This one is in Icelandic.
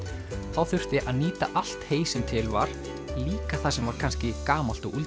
þá þurfti að nýta allt hey sem til var líka það sem var kannski gamalt og